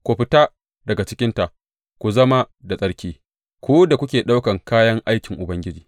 Ku fita daga cikinta ku zama da tsarki, ku da kuke ɗaukan kayan aikin Ubangiji.